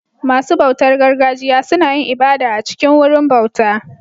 Masu bautar gargajiya suna yin ibada a cikin Wurin bauta